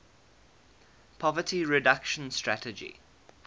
poverty reduction strategy